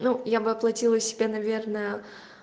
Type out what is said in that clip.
ну я бы оплатила себе наверное